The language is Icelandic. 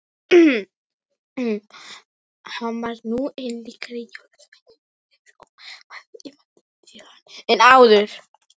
Hann var nú enn líkari jólasveininum—eins og maður ímyndaði sér hann—en áður.